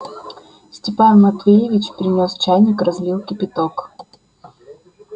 степан матвеевич принёс чайник разлил кипяток